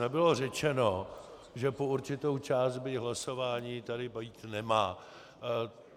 Nebylo řečeno, že po určitou část, byť hlasování, tady být nemá.